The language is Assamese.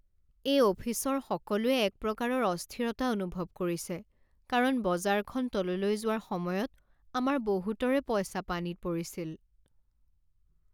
এই অফিচৰ সকলোৱে এক প্ৰকাৰৰ অস্থিৰতা অনুভৱ কৰিছে কাৰণ বজাৰখন তললৈ যোৱাৰ সময়ত আমাৰ বহুতৰে পইচা পানীত পৰিছিল।